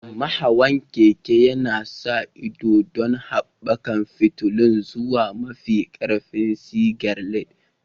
Mai hawan keke yana sa ido don haɓaka fitilun zuwa mafi ƙarfin sigar LED.